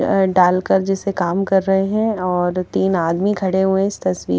अ डालकर जिसे काम कर रहे हैं और तीन आदमी खड़े हुए हैं इस तस्वीर--